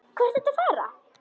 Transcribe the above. Hvað ertu að fara?